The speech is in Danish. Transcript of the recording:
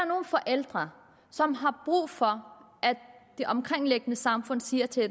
nogle forældre som har brug for at det omkringliggende samfund siger til